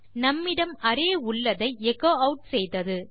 நம்மிடம் அரே உள்ளதை எச்சோ ஆட் செய்தது